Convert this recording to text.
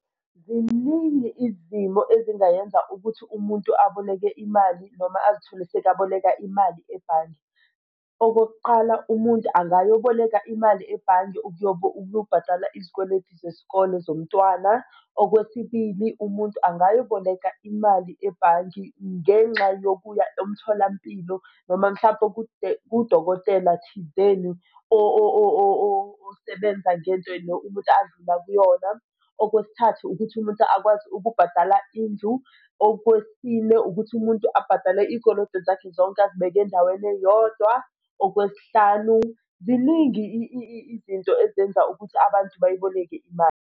Ziningi izimo ezingayenza ukuthi umuntu aboleke imali noma azithole sekabola imali ebhange. Okokuqala umuntu angayoboleka imali ebhange ukuyobhadala izikweletu zesikole zomntwana. Okwesibili, umuntu angayoboleka imali ebhanki ngenxa yokuya emtholampilo noma mhlampe kudokotela thizeni osebenza ngendlela umuntu andlula kuyona. Okwesithathu, ukuthi umuntu akwazi ukubhadala indlu. Okwesine, ukuthi umuntu abhadale iy'koloto zakhe zonke azibeke endaweni eyodwa. Okwesihlanu, ziningi izinto ezenza ukuthi abantu bayiboleke imali.